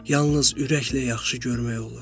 Yalnız ürəklə yaxşı görmək olur.